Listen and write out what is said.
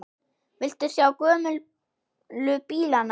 Viltu sjá gömlu bílana?